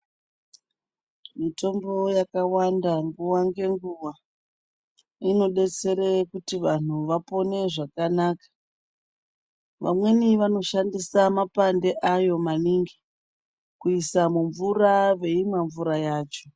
Mitombo yakawanda nguwa ngenguwa inodetsere kuti vantu vapone zvakanaka vamweni vanoshandisa mapande ayo maningi kuisa mumvura veimwa mvura yacho.